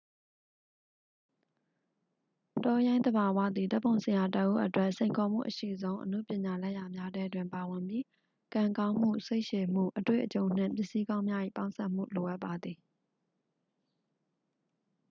တောရိုင်းသဘာဝသည် ဓာတ်ပုံဆရာတစ်ဦးအတွက် စိန်ခေါ်မှုအရှိဆုံး အနုပညာလက်ရာများထဲတွင်ပါဝင်ပြီး ကံကောင်းမှု စိတ်ရှည်မှု အတွေ့အကြုံနှင့် ပစ္စည်းကောင်းများ၏ပေါင်းစပ်မှု လိုအပ်ပါသည်